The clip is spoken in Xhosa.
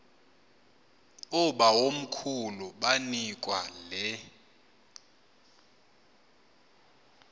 oobawomkhulu banikwa le